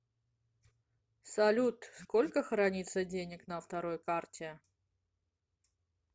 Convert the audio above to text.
салют сколько хранится денег на второй карте